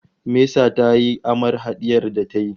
Mesa tayi aman hadiyar da ta yi